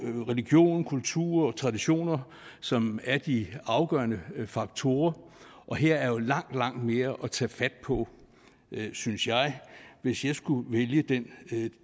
religion kultur og traditioner som er de afgørende faktorer og her er langt langt mere at tage fat på synes jeg hvis jeg skulle vælge den